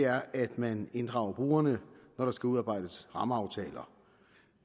er at man inddrager brugerne når der skal udarbejdes rammeaftaler